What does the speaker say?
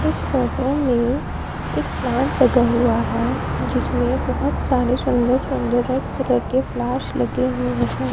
इस फोटो में एक प्लांट लगा हुआ है जिसमें बहोत सारे सुंदर सुंदर रेड कलर के फ्लार्स लगे हुए हैं।